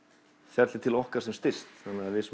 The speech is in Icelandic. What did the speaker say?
fjallið til okkar sem styst þannig við